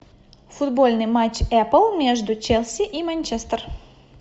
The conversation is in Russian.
футбольный матч апл между челси и манчестер